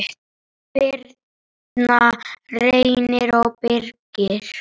Birna, Reynir og Birgir.